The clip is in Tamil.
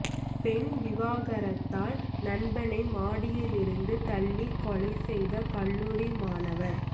பெண் விவகாரத்தால் நண்பனை மாடியில் இருந்து தள்ளி கொலை செய்த கல்லூரி மாணவர்